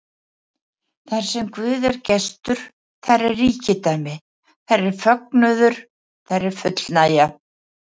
Þarsem Guð er gestur, þar er ríkidæmi, þar er fögnuður, þar er fullnægja.